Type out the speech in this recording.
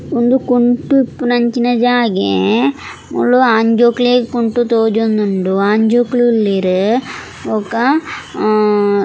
ಉಂದು ಕುಂಟು ಇಪ್ಪುನಂಚಿತ್ತಿನ ಜಾಗೆ ಮೂಲು ಆಂಜೋಕ್ಲೆಗ್ ಕುಂಟು ತೋಜೊಂದುಂಡು ಆಂಜೋಕುಲು ಉಲ್ಲೆರ್ ಬೊಕ.